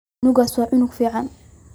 Cunugas wa cunug ficn.